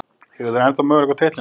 Eiga þær enn möguleika á titlinum?